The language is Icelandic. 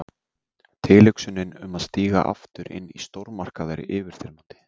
Tilhugsunin um að stíga aftur inn í stórmarkað er yfirþyrmandi.